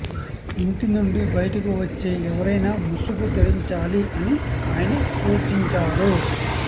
ఇంటి నుండి బయటకు వచ్చే ఎవరైనా ముసుగు ధరించాలి అని ఆయన సూచించారు